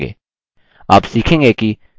आप सीखेंगे कि: